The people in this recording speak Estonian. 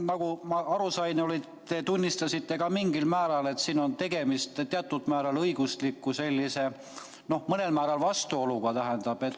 Nagu ma aru sain, siis te tunnistasite ka mingil määral, et siin on tegemist teatud määral õigusliku sellise, noh, mõnel määral vastuoluga.